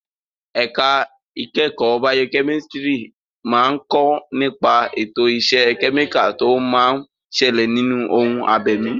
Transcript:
Ẹ̀ka ìkẹ́kọ̀ọ́ baokẹ́mísítírì máa ń kọ́ nípa ètò ìṣe kẹ́míkà tó máa ń ṣẹlẹ̀ nínú ohun abẹ̀mí.